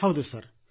ಹೌದು ಸರ್